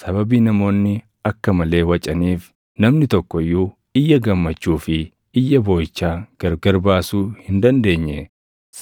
Sababii namoonni akka malee wacaniif namni tokko iyyuu iyya gammachuu fi iyya booʼichaa gargar baasuu hin dandeenye;